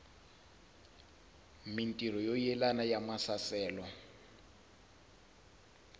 mintirho yo yelana ya maasesele